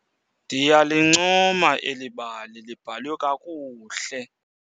Ndiyalincoma eli bali libhalwe kakuhle.